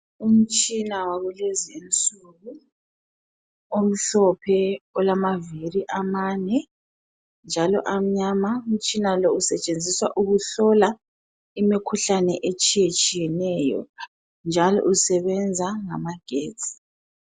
Umtshina wakulezinsuku, omhlophe olamaviri amane njalo amnyama. Umtshina lo usetshenziswa ukuhlola imikhuhlane etshiyetshiyeneyo njalo usebenza ngamagetsi.